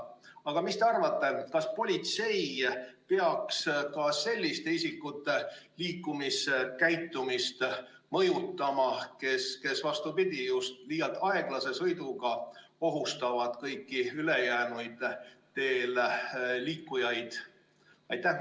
Aga mis te arvate, kas politsei peaks ka selliste isikute liikluskäitumist mõjutama, kes, vastupidi, just liialt aeglase sõiduga ohustavad kõiki ülejäänud teel liiklejaid?